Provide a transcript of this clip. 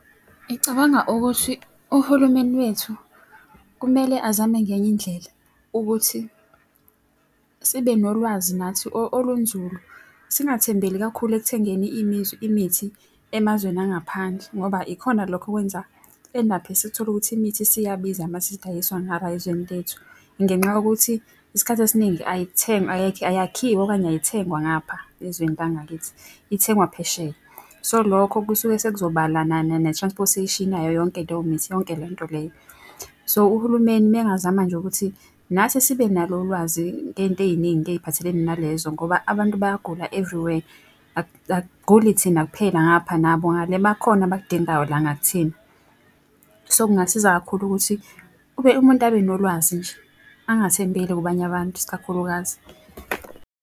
Ngicabanga ukuthi uhulumeni wethu kumele azame ngenye indlela ukuthi sibe nolwazi nathi olunzulu. Singathembeli kakhulu ekuthengeni imithi emazweni angaphandle, ngoba ikhona lokho okwenza si-end up-e sikuthola ukuthi imithi isiyabiza uma isidayiswa ngala ezweni lethu. Ngenxa yokuthi isikhathi esiningi ayakhiwa okanye ayithengwa ngapha ezweni la ngakithi, ithengwa phesheya. So lokho kusuke sekuzobala ne-transportation yayo yonke leyo mithi yonke leyo nto leyo. So uhulumeni uma engazama nje ukuthi nathi sibe nalo ulwazi ngey'nto ey'ningi ey'phathelene nalezo ngoba abantu bayagula everywhere akuguli thina kuphela ngapha nabo ngale bakhona abakudingayo la ngakuthina. So kungasiza kakhulu ukuthi kube umuntu abe nolwazi nje, angathembeli kubanye abantu isikakhulukazi.